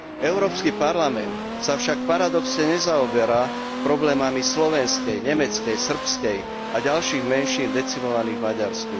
Európsky parlament sa však paradoxne nezaoberá problémami slovenskej, nemeckej, srbskej menšiny alebo ďalších menšín decimovaných v Maďarsku.